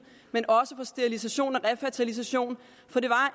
men også sterilisation og refertilisation for det var